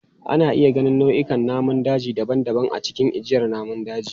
Ana iya ganin nau'ikan namun daji daban-daban a cikin ajiyar namun daji.